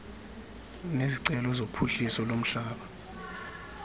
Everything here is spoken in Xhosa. nezicelo zophuhliso lomhlaba